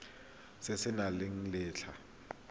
se se nang le letlha